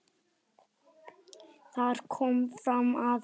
Þar kom fram að